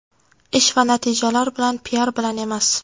Ish va natijalar bilan, piar bilan emas.